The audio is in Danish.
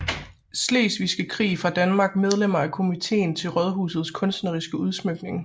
Slesvigske Krig fra Danmark Medlemmer af Komiteen til Raadhusets kunstneriske Udsmykning